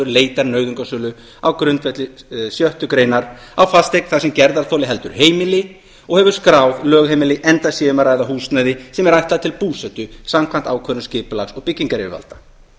leitar nauðungarsölu á grundvelli sjöttu grein á fasteign þar sem gerðarþoli heldur heimili og hefur skráð lögheimili enda sé um að ræða húsnæði sem er ætlað til búsetu samkvæmt ákvörðun skipulags og byggingaryfirvalda